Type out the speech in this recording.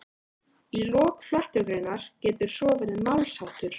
Í lok flettugreinar getur svo verið málsháttur